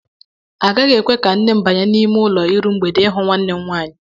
Agaghị ekwe ka nne m banye n'ime ụlọ iru mgbede ịhụ nwanne m nwaanyị.